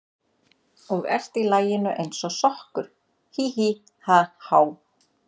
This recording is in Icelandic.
Og ert í laginu eins og sokkur, hí, hí, ha, há.